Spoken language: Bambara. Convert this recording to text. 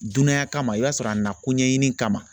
Dunanya kama i b'a sɔrɔ a nakun ɲɛɲini kama